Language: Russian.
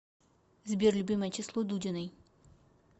сбер любимое число дудиной